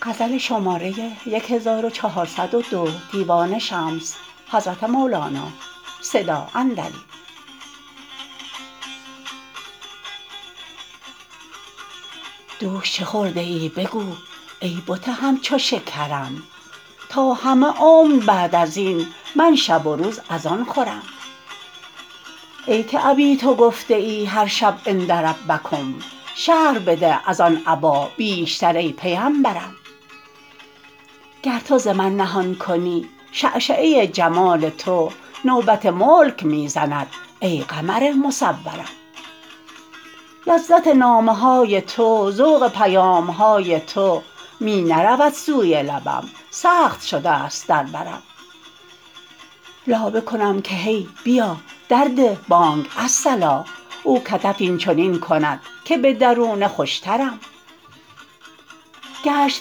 دوش چه خورده ای بگو ای بت همچو شکرم تا همه عمر بعد از این من شب و روز از آن خورم ای که ابیت گفته ای هر شب عند ربکم شرح بده از آن ابا بیشتر ای پیمبرم گر تو ز من نهان کنی شعشعه جمال تو نوبت ملک می زند ای قمر مصورم لذت نامه های تو ذوق پیام های تو می نرود سوی لبم سخت شده ست در برم لابه کنم که هی بیا درده بانگ الصلا او کتف این چنین کند که به درونه خوشترم گشت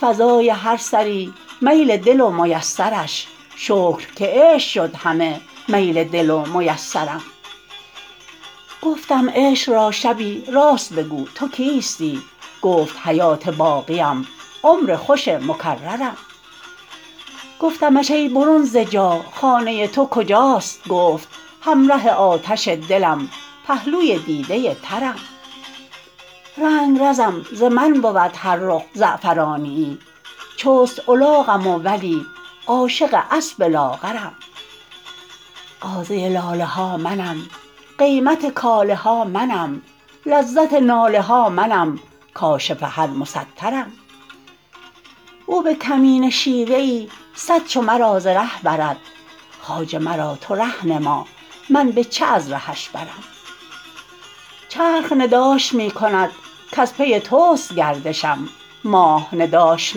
فضای هر سری میل دل و میسرش شکر که عشق شد همه میل دل و میسرم گفتم عشق را شبی راست بگو تو کیستی گفت حیات باقیم عمر خوش مکررم گفتمش ای برون ز جا خانه تو کجاست گفت همره آتش دلم پهلوی دیده ترم رنگرزم ز من بود هر رخ زعفرانیی چست الاقم و ولی عاشق اسب لاغرم غازه لاله ها منم قیمت کاله ها منم لذت ناله ها منم کاشف هر مسترم او به کمینه شیوه ای صد چو مرا ز ره برد خواجه مرا تو ره نما من به چه از رهش برم چرخ نداش می کند کز پی توست گردشم ماه نداش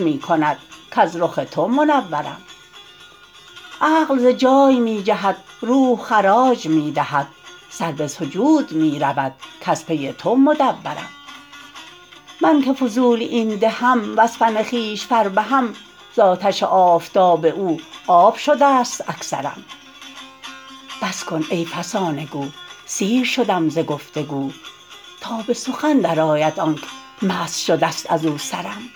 می کند کز رخ تو منورم عقل ز جای می جهد روح خراج می دهد سر به سجود می رود کز پی تو مدورم من که فضول این دهم وز فن خویش فربهم ز آتش آفتاب او آب شده ست اکثرم بس کن ای فسانه گو سیر شدم ز گفت و گو تا به سخن درآید آنک مست شده ست از او سرم